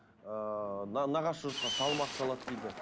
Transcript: ыыы нағашы жұртқа салмақ салады дейді